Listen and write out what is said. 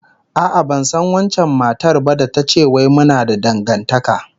A'a, ban san wancan matar ba da ta ce wai muna da dangantaka